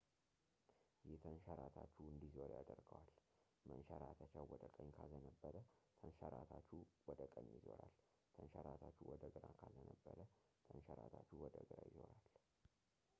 ይህ ተንሸራታቹ እንዲዞር ያደርገዋል መንሸራተቻው ወደ ቀኝ ካዘነበለ ተንሸራታቹ ወደ ቀኝ ይዞራል ተንሸራታቹ ወደ ግራ ካዘነበለ ተንሸራታቹ ወደ ግራ ይዞራል